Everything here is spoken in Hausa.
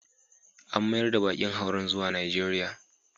An mayar da bakin hauren zuwa Najeriya.